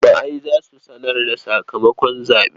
Jama'ai za su sanar da sakamakon zaɓe.